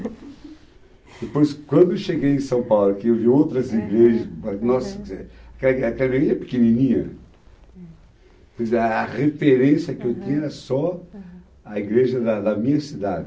Depois, quando eu cheguei em São Paulo, que eu vi outras igrejas, aham, nossa, quer dizer, aquela aquela igreja pequenininha, quer dizer, a referência que eu tinha era só, aham, a igreja da da minha cidade.